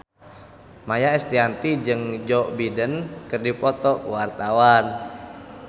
Maia Estianty jeung Joe Biden keur dipoto ku wartawan